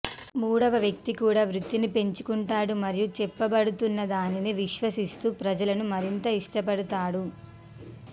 మూడవ వ్యక్తి కూడా వృత్తిని పెంచుకుంటాడు మరియు చెప్పబడుతున్నదానిని విశ్వసిస్తూ ప్రజలను మరింత ఇష్టపడతాడు